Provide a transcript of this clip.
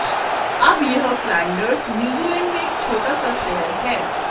अब यह Flanders New Zealand में एक छोटा सा शहर है